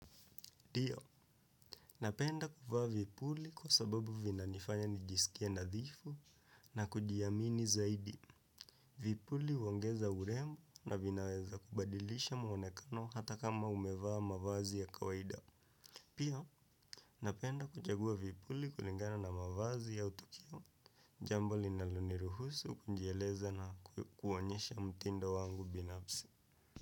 Dio, napenda kufaa vipuli kwa sababu vina nifanya nijisikie nadhifu na kujiamini zaidi. Vipuli uongeza urembo na vinaweza kubadilisha mwonekano hata kama umevaa mavazi ya kawaida. Pia, napenda kuchagua vipuli kulingana na mavazi au tukio. Jambo linaloniruhusu kujieleza na kuwonyesha mtindo wangu binapsi.